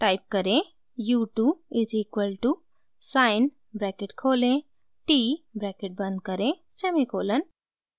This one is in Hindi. टाइप करें: u 2 is equal to sine bracket खोलें t ब्रैकेट बंद करें सेमीकोलन